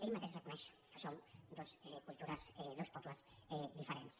ell mateix reconeix que som dues cultures dos pobles diferents